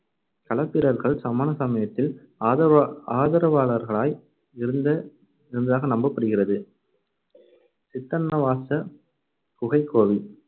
களப்பிரர்கள் சமண சமயத்தின் ஆதரவா~ ஆதரவாளர்களாய் இருந்த~ இருந்ததாக நம்பப்படுகிறது சித்தன்னவாசல் குகைக்கோவில்